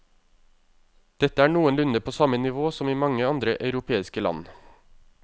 Dette er noenlunde på samme nivå som i mange andre europeiske land.